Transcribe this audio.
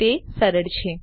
તે સરળ છે